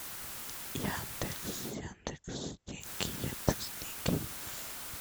яндекс яндекс деньги яндекс деньги